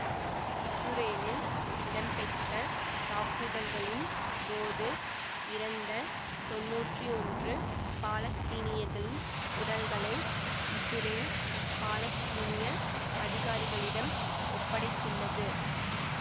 இசுரேலில் இடம்பெற்ற தாக்குதல்களின் போது இறந்த தொன்னூற்றி ஒன்று பாலத்தீனியர்களின் உடல்களை இசுரேல் பாலத்தீனிய அதிகாரிகளிடம் ஒப்படைத்துள்ளது